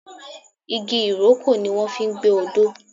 igi ìrókò ni wọ́n fi ń gbẹ́ odó.